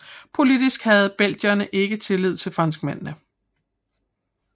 Politisk havde belgierne ikke tillid til franskmændene